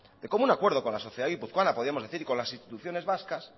de común acuerdo con la sociedad guipuzcoana podíamos decir y con las instituciones vascas